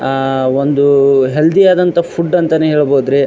ಆ ಆ ಒಂದು ಹೆಲ್ತಿ ಆದಂತ ಫುಡ್ ಅಂತಾನೆ ಹೇಳಬಹುದುರೀ --